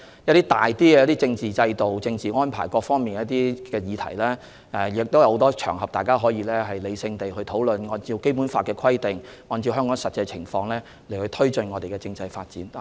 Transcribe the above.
一些關於政治制度、政治安排等的大議題，大家可在很多場合理性地討論，按照《基本法》的規定及香港的實際情況，推進我們的政制發展。